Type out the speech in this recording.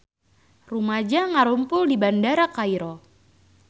Rumaja ngarumpul di Bandara Kairo